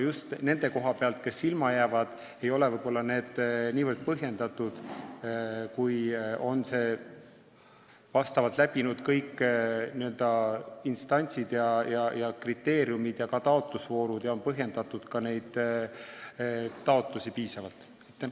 Just nende arvates, kes ilma jäävad, ei ole need otsused niivõrd põhjendatud, kui oleks siis, kui oleks läbi käidud kõik instantsid ja taotlusvoorud, oleks täidetud kõik kriteeriumid ja neid taotlusi oleks piisavalt põhjendatud.